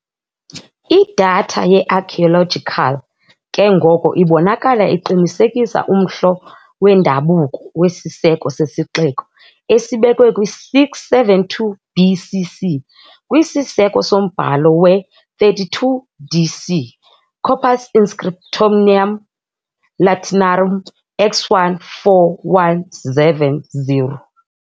Idatha ye-archaeological ke ngoko ibonakala iqinisekisa umhlo wendabuko wesiseko sesixeko, esibekwe kwi -672 BC.C. kwisiseko sombhalo we-32 d.C., "Corpus Inscriptionum Latinarum" X1, 4170.